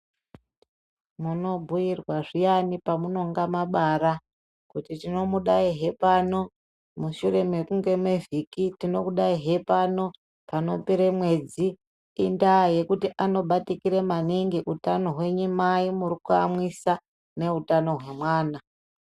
Munobhuyirwa zviyani pamunonga mabara kuti tinomudaihe pano mushure mekunge mevhiki. Tinokudaihe pano panopere mwedzi. Indaa yekuti anobatikira maningi utano hwenyu mai muri kuyamwisa neutano hwemwana.